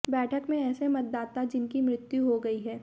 बैठक में ऐसे मतदाता जिनकी मृत्यु हो गई है